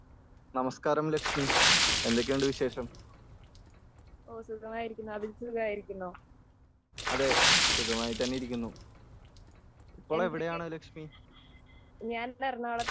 നമസ്ക്കാരം ലക്ഷ്മി.എന്തൊക്കെയുണ്ട് വിശേഷം.അതെ, സുഖമായി തന്നെ ഇരിക്കുന്നു.ഇപ്പോൾ എവിടെയാണ് ലക്ഷ്മി.